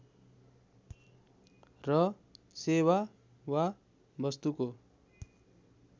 र सेवा वा वस्तुको